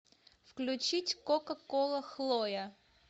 включить кока кола хлоя